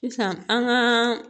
Sisan an ka